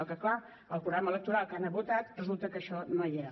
el que clar al programa electoral que han votat resulta que això no hi era